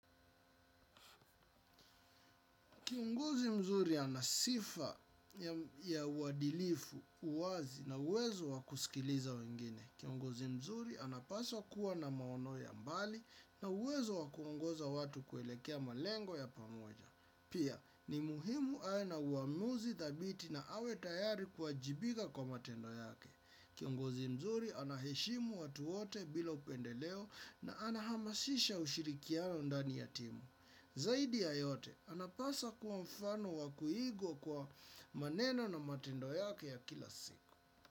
Kiongozi mzuri ana sifa ya uadilifu, uwazi na uwezo wa kusikiliza wengine. Kiongozi mzuri anapaswa kuwa na maono ya mbali na uwezo wa kungoza watu kuelekea malengo ya pamoja. Pia, ni muhimu awe na uamuzi thabiti na awe tayari kuwajibika kwa matendo yake. Kiongozi mzuri anaheshimu watu wote bila upendeleo na ana hamasisha ushirikiano ndani ya timu. Zaidi ya yote, anapasa kuwa mfano wa kuigwa kwa maneno na matendo yake ya kila siku.